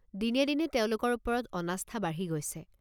দিনে দিনে তেওঁলোকৰ ওপৰত অনাস্থা বাঢ়ি গৈছে।